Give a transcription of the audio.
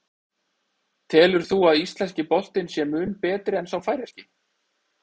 Telur þú að íslenski boltinn sé mun betri en sá færeyski?